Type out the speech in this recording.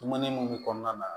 Dumuni mun bi kɔnɔna na